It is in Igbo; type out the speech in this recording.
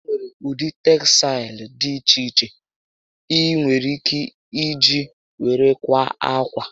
Enwere ụdị tegsaịlụ dị iche iche ị nwèrè ike Iji were kwaa ákwà